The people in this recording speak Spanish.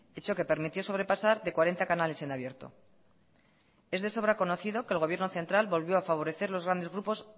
hecho que permitió sobrepasar de cuarenta canales en abierto es de sobra conocido que el gobierno central volvió a favorecer a los grandes grupos